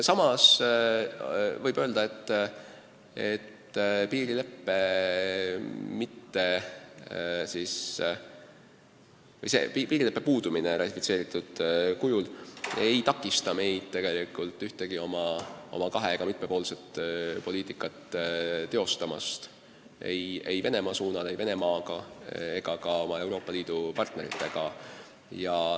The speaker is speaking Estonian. Samas võib öelda, et ratifitseeritud piirileppe puudumine ei takista meid tegelikult teostamast oma kahe- ja mitmepoolset poliitikat ei Venemaa suunal, ei Venemaaga ega ka oma Euroopa Liidu partneritega.